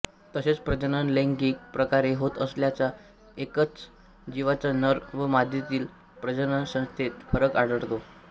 तसेच प्रजनन लैंगिक प्रकारे होत असल्यास एकाच जीवाच्या नर व मादीतील प्रजननसंस्थेत फरक आढळतो